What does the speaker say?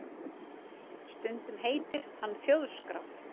Stundum heitir hann Þjóðskrá